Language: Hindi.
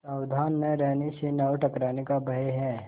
सावधान न रहने से नाव टकराने का भय है